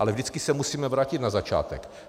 Ale vždycky se musíme vrátit na začátek.